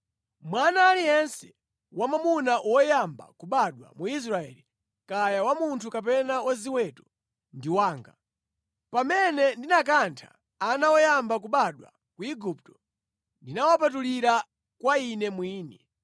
Mwana aliyense wamwamuna woyamba kubadwa mu Israeli, kaya wa munthu kapena wa ziweto, ndi wanga. Pamene ndinakantha ana oyamba kubadwa ku Igupto, ndinawapatulira kwa Ine mwini.